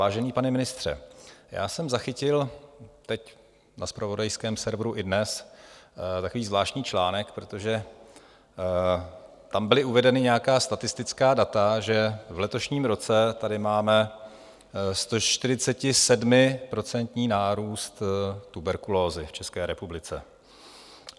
Vážený pane ministře, já jsem zachytil teď na zpravodajském serveru iDNES takový zvláštní článek, protože tam byla uvedena nějaká statistická data, že v letošním roce tady máme 147% nárůst tuberkulózy v České republice.